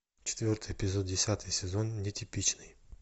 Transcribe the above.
четвертый эпизод десятый сезон нетипичный